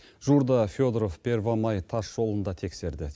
жуырда федоров первомай тасжолын да тексерді